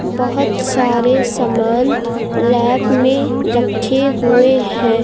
बहोत सारे सामान लैब में रखे हुए हैं।